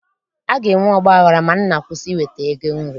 A ga-enwe ọgbaghara ma nna kwụsị iweta ego nri